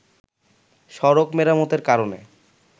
সড়ক মেরামতের কারণে